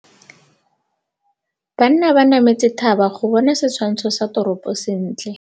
Banna ba nametse thaba go bona setshwantsho sa toropô sentle.